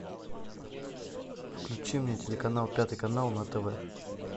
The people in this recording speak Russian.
включи мне телеканал пятый канал на тв